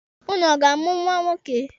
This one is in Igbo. Ụnụ ọ ga-amụ nwa nwoke?